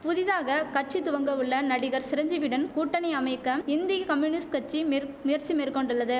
புதிதாக கட்சி துவங்கவுள்ள நடிகர் சிரஞ்சீவியுடன் கூட்டணி அமைக்க இந்திய கம்யூனிஸ்ட் கட்சி மிற் முயற்சி மேற்கொண்டுள்ளதும்